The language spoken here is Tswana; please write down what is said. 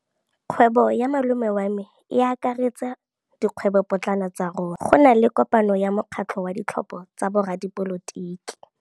Kgwêbô ya malome wa me e akaretsa dikgwêbôpotlana tsa rona. Go na le kopanô ya mokgatlhô wa ditlhopha tsa boradipolotiki.